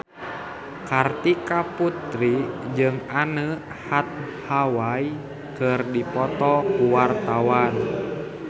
Kartika Putri jeung Anne Hathaway keur dipoto ku wartawan